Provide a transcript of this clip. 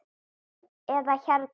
eða hérna